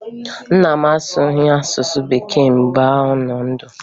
Nna m asụghị asụsụ Bekee mgbe ọ nọ ndụ